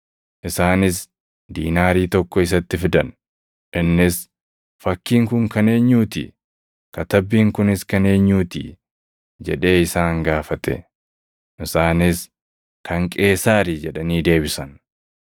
Isaanis diinaarii tokko isatti fidan; innis, “Fakkiin kun kan eenyuu ti? Katabbiin kunis kan eenyuu ti?” jedhee isaan gaafate. Isaanis, “Kan Qeesaari” jedhanii deebisan.